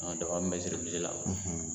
An daba min bɛ siri misi la